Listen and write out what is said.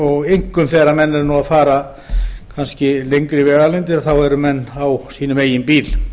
og einkum þegar menn eru að fara kannski lengri vegalengdir þá eru menn á sínum eigin bíl